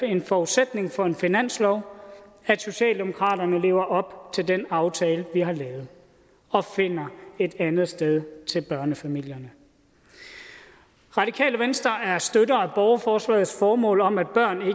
en forudsætning for en finanslov at socialdemokratiet lever op til den aftale vi har lavet og finder et andet sted til børnefamilierne radikale venstre er støttere af borgerforslagets formål om at børn